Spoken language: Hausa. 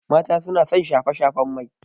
Mata suna son shafe-shafen mai.